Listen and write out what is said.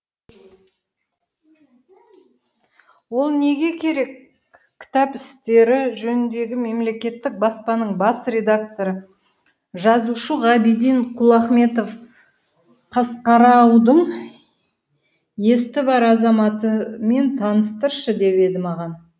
ол неге керек кітап істері жөніндегі мемлекеттік баспаның бас редакторы жазушы ғабиден құлахметов қасқараудың есті бар азаматымен таныстыршы деп еді маған